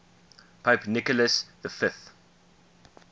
pope nicholas v